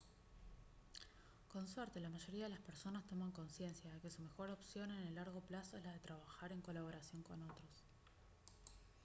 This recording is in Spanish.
con suerte la mayoría de las personas toman consciencia de que su mejor opción en el largo plazo es la de trabajar en colaboración con otros